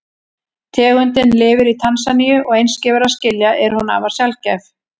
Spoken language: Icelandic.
Tegundin lifir í Tansaníu og eins og gefur að skilja er hún afar sjaldgæf.